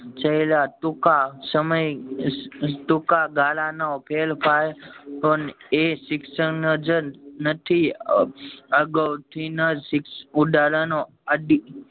છેલ્લા ટૂંકા સમય ટૂંકા ગાળા નો ફેરફાર એ શિક્ષણ જ નથી અ અગાવ થી ન જ ઉદાહરણો